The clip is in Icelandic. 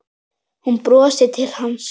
Hún brosir til hans.